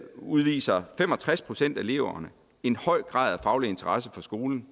udviser fem og tres procent af eleverne en høj grad af faglig interesse for skolen